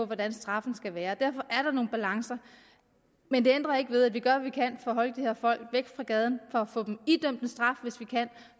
hvordan straffen skal være derfor er der nogle balancer men det ændrer ikke ved at vi gør hvad vi kan for at holde de her folk væk fra gaden for at få dem idømt en straf hvis vi kan